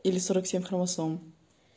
или сорок семь хромосом